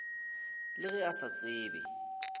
le ge a sa tsebe